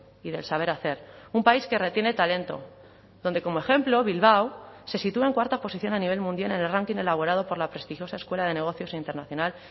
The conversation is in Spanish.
y del saber hacer un país que retiene talento donde como ejemplo bilbao se sitúa en cuarta posición a nivel mundial en el ranking elaborado por la prestigiosa escuela de negocios internacional